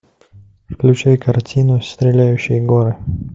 включай картину стреляющие горы